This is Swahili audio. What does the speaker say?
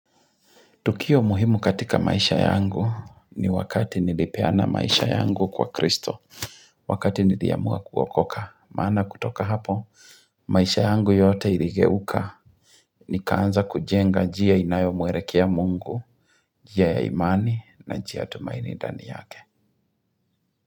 Tukio muhimu katika maisha yangu ni wakati nilipeana maisha yangu kwa kristo. Wakati niliamua kuokoka, maana kutoka hapo, maisha yangu yote iligeuka. Nikaanza kujenga njia inayo muelekea mungu, njia ya imani na njia tumaini ndani yake.